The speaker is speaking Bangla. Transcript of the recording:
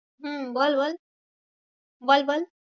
হম বল বল বল বল।